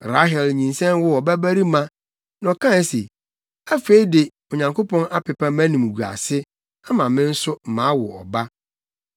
Rahel nyinsɛn woo ɔbabarima, na ɔkae se, “Afei de, Onyankopɔn apepa mʼanimguase ama me nso mawo ɔba.”